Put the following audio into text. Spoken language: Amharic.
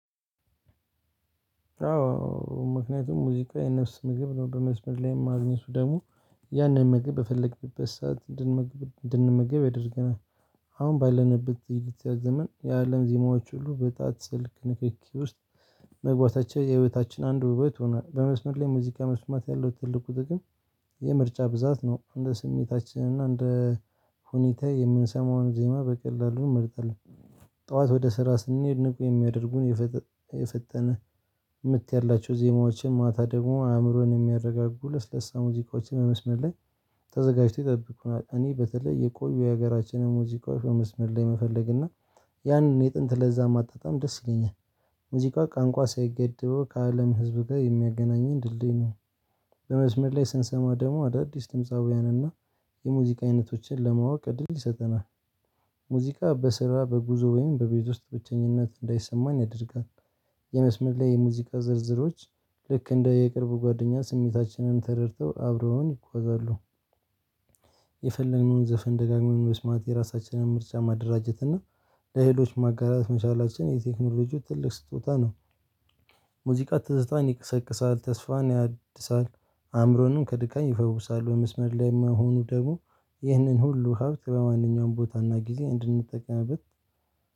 አዎ ምክንያቱም ሙዚቃ የነፍስ ምግብ ነው በመስመር ላይም ማግኘቱ ደግሞ ያንን ምግብ በፈለግንበት ሰዓት እንድንመግብ ያደርገናል። አሁን ባለንበት ልትያዝመን የአለም ዜማዎች ሁሉ በጣጥ ስልክ ንክኪ ውስጥ መግባታቸው የህይወታችን አንድ ውበት ሆኗል። በመስመር ላይ ሙዚቃ መስማት ያለው ትልቁ ጥቅም የምርጫ ብዛት ነው እንደ ስሜታችን እና እንደ ሁኔታ የምንሰማውን ዜማ በቀላሉ እመርጣለሁ። ጠዋት ወደ ስራ ስንሄድ ንቁ የሚያደርጉን የፈጠነ ምት ያላቸው ዜማዎችን ማታ ደግሞ አእምሮን የሚያረጋጉ ለስለሳ ሙዚቃዎችን በመስመር ላይ ተዘጋጅቶ ይጠብቁናል። እኔ በተለይ የቆዩ የሀገራችንን ሙዚቃዎች መስመር ላይ መፈለግ እና ያንን የጥንት ለዛ ማጣጣም ደስ ይለኛል። ሙዚቃ ቋንቋ ሳይገደበው ከአለም ህዝብ ጋር የሚያገናኘን ድልድይ ነው። በመስመር ላይ ስንሰማ ደሞ አዳዲስ ድምጻውያንን እና የሙዚቃ አይነቶችን ለማወቅ እድል ይሰጠናል። ሙዚቃ በስራ በጉዞ ወይም በቤት ውስጥ ብቸኝነት እንዳይሰማኝ ያደርጋል። የመስመር ላይ የሙዚቃ ዝርዝሮች ልክ እንደ የቅርብ ጓደኛ ስሜታችንን ተረድተው አብረውኝ ይጓዛሉ። የፈለግነውን ዘፈን ደጋግመን መስማት የራሳችንን ምርጫ ማደራጀት እና ለሌሎች ማጋራት መቻላቸውን የቴክኖሎጂው ትልቅ ስጦታ ነው። ሙዚቃ ትዝታን ይቀሰቅሳል ተስፋን ያድሳል አእምሮንም ከድካም ይፈውሳል። በመስመር ላይ መሆኑ ደግሞ ይህንን ሁሉ ሀብት በማንኛውም ቦታና ጊዜ እንድንጠቀምበት